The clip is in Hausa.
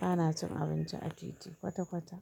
Ba na cin abinci a titi kwata kwata.